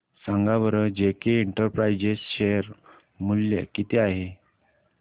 सांगा बरं JK enterprises share मूल्य किती आहे